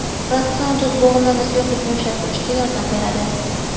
Ratsion Tuz bo‘g‘imlarda suyuqlikni ushlab turishga yordam beradi.